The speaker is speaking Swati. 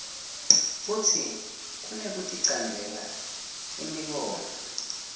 futsi kunekuticambela imibono